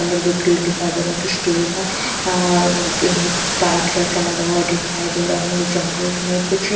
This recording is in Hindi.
एक गेट दिखाई दे रहा है एक स्टील का अह एक पाइप जैसा लग हुआ दिखाई दे रहा है जंगल में कुछ।